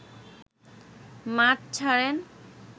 মাঠ ছাড়েন